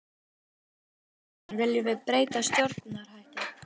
Hörður Torfason: Viljum við breytta stjórnarhætti?